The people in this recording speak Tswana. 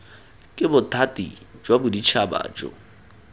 ke bothati jwa boditšhaba jo